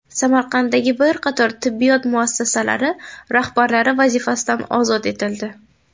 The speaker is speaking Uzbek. Samarqanddagi bir qator tibbiyot muassasalari rahbarlari vazifasidan ozod etildi.